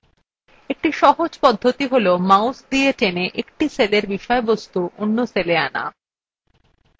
একটি সহজ পদ্ধতি cellmouse দিয়ে টেনে এক সেলের বিষয়বস্তু অন্য cell আনা